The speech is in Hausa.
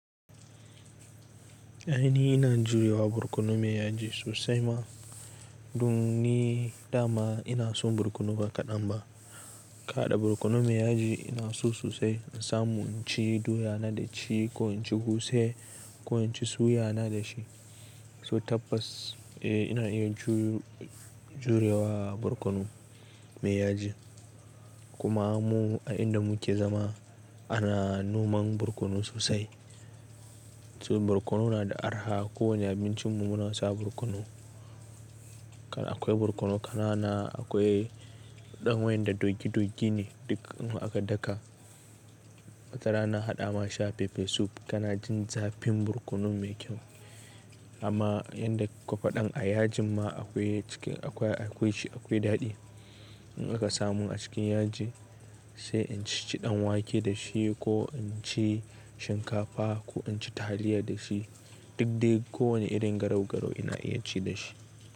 Ainihi ina jurewa borkono mai yaji sosai ma. Dun ni dama ina son borkono ba kaɗan ba. In ka hada borkono mai yaji ina so sosai in samu in ci doya na da ci ko in ci guse ko in ci suya na da shi. To tabbas eh ina iya ju--jurewa borkono mai yaji. Kuma mu a inda muke zama ana noman borkono sosai. To borkono na da arha kowane abincin mu muna sa borkono. Kar- akwai borkono ƙanana akwai ɗan wayen da doggi doggi ne duk in har aka daka. Wata rana haɗa ma shi a pepper soup kana jin zafin borkono mai kyau. Amma yanda ƙuka faɗan a yajin ma akwai cikin akwai akwai shi akwai daɗi. In aka samun a cikin yaji sai in ci-ci ɗan wake da shi ko in ci shinkafa ko in ci taliya da shi. Duk dai ko wane irin garau-garau ina iya ci da shi.